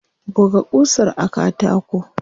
Buga ƙusar a katako.